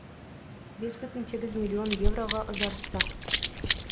бес бүтін сегіз миллион евроға ұзартты